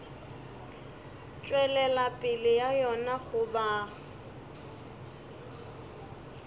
tšwelela pele ga yona goba